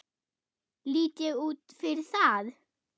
Lít ég út fyrir það?